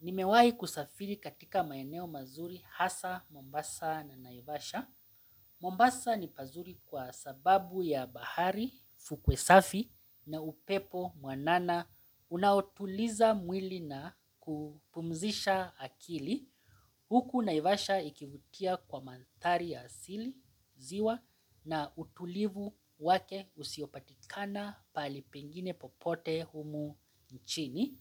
Nimewai kusafiri katika maeneo mazuri hasa, mombasa na naivasha. Mombasa ni pazuri kwa sababu ya bahari, fukwe safi na upepo mwanana. Unaotuliza mwili na kupumzisha akili. Huku naivasha ikivutia kwa mandhari ya asili, ziwa na utulivu wake usiopatikana pahali pengine popote humu nchini.